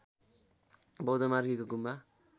बौद्ध मार्गीको गुम्वा